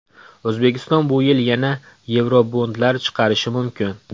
O‘zbekiston bu yil yana yevrobondlar chiqarishi mumkin.